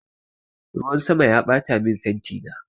Ruwan sama ya ɓatamin fentina